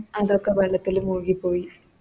അതൊക്കെ വെള്ളത്തില് മുഴുകി പോയി